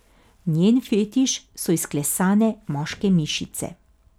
Njen fetiš so izklesane moške mišice.